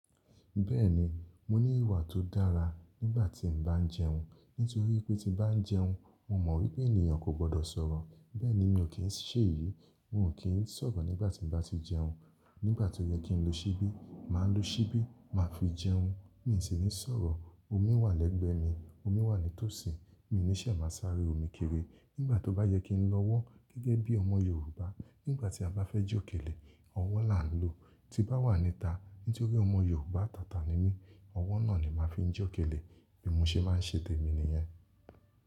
Bẹ́ẹ̀ni, mo ní ìwà tó dára nígbà tí n bá ń jẹun. Nítorí pé tí bá ń jẹun, mo mọ̀ wípé ènìyàn kò gbọ́dọ̀ sọ̀rọ̀. Bẹ́ẹ̀ni mi ò kí ń ṣe èyí, mo ò kí ń sọ̀rọ̀ nígbà tí n bá ti jẹun. Nígbà tó yẹ kí n lo ṣíbí, màá lo ṣíbí, màá fi jẹun. Mi ṣi ní sọ̀rọ̀. Omi wà lẹ́gbẹ̀ẹ́ mi, omi wà nítòsí, mi ò ní ṣè máa sáré omi kéré. Nígbà tó bá yẹ kí n lọ ọwọ́ gẹ́gẹ́ bí ọmọ Yorùbá, nígbà tí a bá fẹ́ jókẹ́lẹ́, ọwọ́ la ń lo. Tí bá wà níta, nítorí ọmọ Yorùbá atàtà ni mí, ọwọ́ náà ni màá fi ń jókẹ́lẹ́. Bi mo ṣe máa ń ṣè temi nìyẹn.